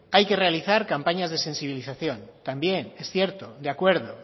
hay que realizar campañas de sensibilización también es cierto de acuerdo